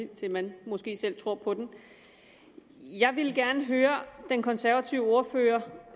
til man måske selv tror på den jeg ville gerne høre den konservative ordfører